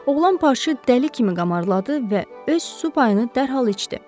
Oğlan parçı dəli kimi qamarladı və öz su payını dərhal içdi.